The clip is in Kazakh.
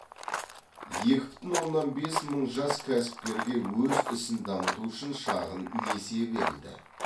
екі бүтін оннан бес мың жас кәсіпкерге өз ісін дамыту үшін шағын несие берілді